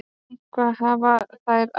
Eitthvað hafa þær æft.